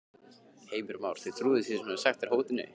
Heimir Már: Þið trúið sem sagt hótuninni?